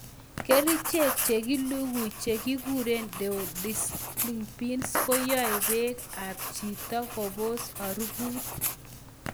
Kerichek chekilugui chekikuren deodorizing pills koyoi bek ab chito kobos harufut